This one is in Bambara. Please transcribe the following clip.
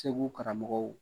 Segu karamɔgɔw